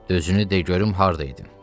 Dözünü de görüm harda idin?